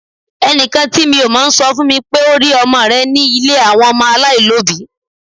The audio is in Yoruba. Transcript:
Ẹnìkan tí mi ò mọ̀ sọ fún mi pé ó rí ọmọ rẹ ní ilé àwọn ọmọ aláìlóbìí